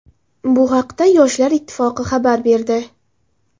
Bu haqda Yoshlar ittifoqi xabar berdi .